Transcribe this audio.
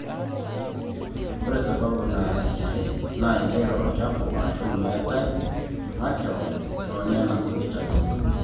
ore sababu nara eniare naa injere olchafu aashu meetai makewan toonena sipitalini